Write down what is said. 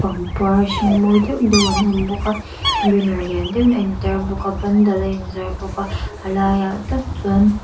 pangpar hring mawi deuhdeuh an awm bawk a banner lian deuhin a in tar bawk a pandal a in zar bawk a a laiah tak chuan --